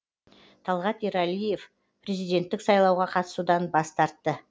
талғат ерғалиев президенттік сайлауға қатысудан бас тартты